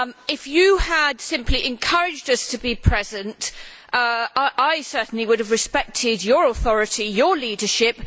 If you had simply encouraged us to be present I, certainly, would have respected your authority and your leadership.